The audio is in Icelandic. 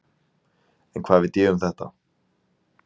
En hvað veit ég um þetta?